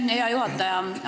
Aitäh, hea juhataja!